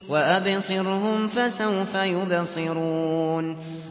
وَأَبْصِرْهُمْ فَسَوْفَ يُبْصِرُونَ